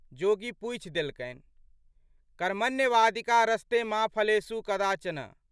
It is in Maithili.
जोगी पूछि देलकनि। "कर्मण्येवाधिकारस्ते मा फलेषु कदाचन।